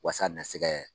Waasa a na se kɛ